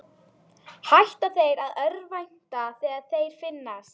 Hætta þeir að örvænta þegar þeir finnast?